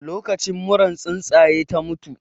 Lokacin muran tsuntsaye ta mutu